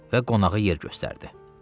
və qonağı yer göstərdi.